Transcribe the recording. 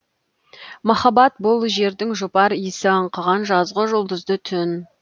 махаббат бұл жердің жұпар иісі аңқыған жазғы жұлдызды түн